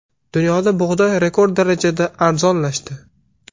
Dunyoda bug‘doy rekord darajasida arzonlashdi.